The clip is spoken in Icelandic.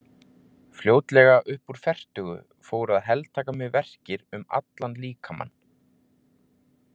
Fljótlega upp úr fertugu fóru að heltaka mig verkir um allan líkamann.